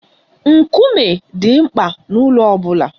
Nkume dị mkpa n'ụlọ ọ bụla.